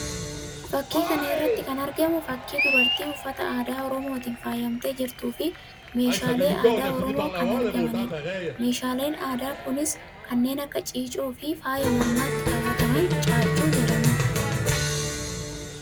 Fakii kan irratti kan argamu fakii dubartii uffataa aadaa Oromootiin faayamtee jirtu fi meeshaalee aadaa Oromoo kan argamanidha. meeshaaleen aadaa kunis kanneen akka ciicoo fi faaya mormatti kaawwatamu caaccuu jedhamudha.